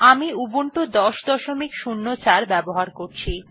আমি উবুন্টু ১০০৪ ব্যবহার করছি